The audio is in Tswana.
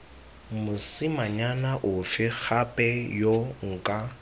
mosimanyana ofe gape yo nka